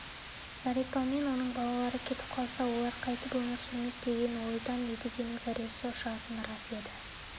зәрипамен оның балалары кетіп қалса олар қайтіп өмір сүрмек деген ойдан едігенің зәресі ұшатыны рас еді